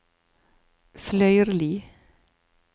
Fløyrli